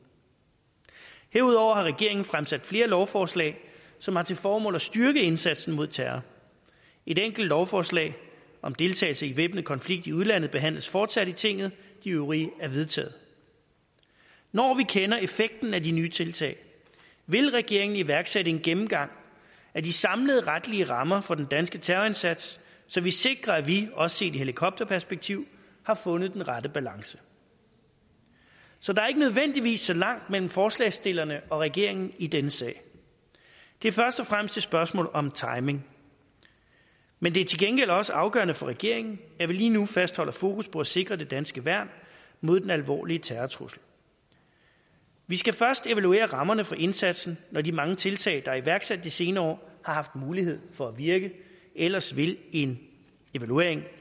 herudover har regeringen fremsat flere lovforslag som har til formål at styrke indsatsen mod terror et enkelt lovforslag om deltagelse i væbnet konflikt i udlandet behandles fortsat i tinget de øvrige er vedtaget når vi kender effekten af de nye tiltag vil regeringen iværksætte en gennemgang af de samlede retlige rammer for den danske terrorindsats så vi sikrer at vi også set i helikopterperspektiv har fundet den rette balance så der er ikke nødvendigvis så langt mellem forslagsstillerne og regeringen i denne sag det er først og fremmest et spørgsmål om timing men det er til gengæld også afgørende for regeringen at vi lige nu fastholder fokus på at sikre det danske værn mod den alvorlige terrortrussel vi skal først evaluere rammerne for indsatsen når de mange tiltag der er iværksat de senere år har haft mulighed for at virke ellers vil en evaluering